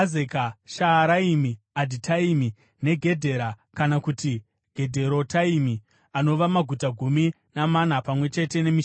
Shaaraimi, Adhitaimi, neGedhera (kana kuti Gedherotaimi) anova maguta gumi namana pamwe chete nemisha yawo.